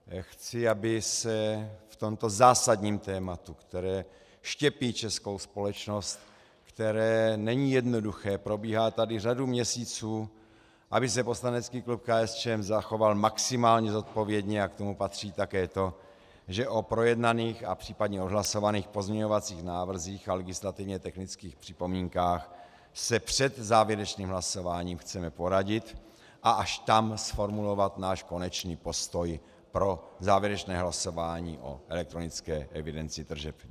Chci, aby se v tomto zásadním tématu, které štěpí českou společnost, které není jednoduché, probíhá tady řadu měsíců, aby se poslanecký klub KSČM zachoval maximálně zodpovědně, a k tomu patří také to, že o projednaných a případně odhlasovaných pozměňovacích návrzích a legislativně technických připomínkách se před závěrečným hlasováním chceme poradit a až tam zformulovat náš konečný postoj pro závěrečné hlasování o elektronické evidenci tržeb.